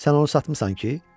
Sən onu satmısan ki?